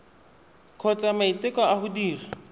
kgotsa maiteko a go dira